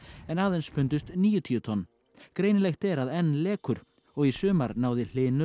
en aðeins fundust níutíu tonn greinilegt er að enn lekur og í sumar náði Hlynur